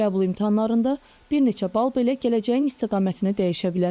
Qəbul imtahanlarında bir neçə bal belə gələcəyin istiqamətini dəyişə bilər.